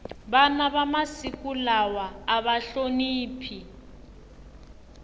vana va masiku lawa ava hloniphi